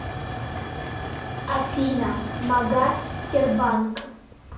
афина магас тербанк